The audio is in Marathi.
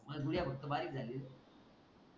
बस गुडिया फक्त बारीक झाली रे .